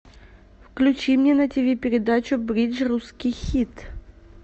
включи мне на тиви передачу бридж русский хит